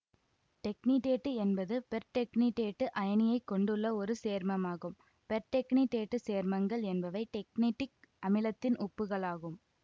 டெக்னிடேட்டு என்பது பெர்டெக்னிடேட்டு அயனியைக் கொண்டுள்ள ஒரு சேர்மமாகும் பெர்டெக்னிடேட்டு சேர்மங்கள் என்பவை டெக்னடிக் அமிலத்தின் உப்புகளாகும்